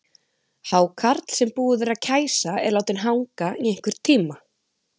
Hákarl sem búið er að kæsa er látinn hanga í einhvern tíma.